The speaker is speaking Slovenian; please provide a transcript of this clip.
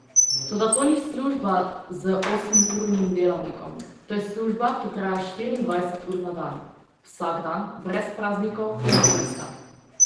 Toda to ni služba z osemurnim delavnikom, to je služba, ki traja štiriindvajset ur na dan, vsak dan, brez praznikov in dopusta.